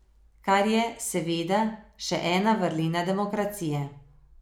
Kar je, seveda, še ena vrlina demokracije.